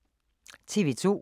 TV 2